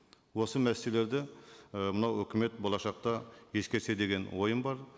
осы мәселелерді і мынау үкімет болашақта ескерсе деген ойым бар